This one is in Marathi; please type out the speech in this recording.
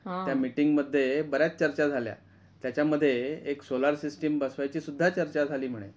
त्या मिटींग मध्ये बऱ्याच चर्चा झाल्या त्याचा मध्ये एक सोलार सिस्टिम बसवायची सुद्धा चर्चा झाली म्हणे.